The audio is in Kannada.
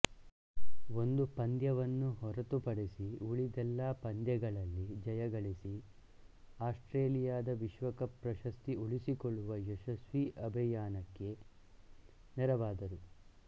ಒಂದು ಪಂದ್ಯವನ್ನು ಹೊರತುಪಡಿಸಿಉಳಿದೆಲ್ಲಾ ಪಂದ್ಯಗಳಲ್ಲಿ ಜಯಗಳಿಸಿ ಆಸ್ಟ್ರೇಲಿಯದ ವಿಶ್ವಕಪ್ ಪ್ರಶಸ್ತಿ ಉಳಿಸಿಕೊಳ್ಳುವ ಯಶಸ್ವಿ ಅಭಿಯಾನಕ್ಕೆ ನೆರವಾದರು